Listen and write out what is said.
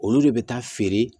Olu de bɛ taa feere